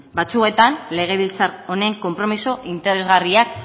batzuetan legebiltzar honen konpromiso interesgarriak